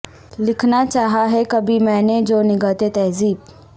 لکھنا چاہا ہے کبھی میں نے جو نگہت تہذیب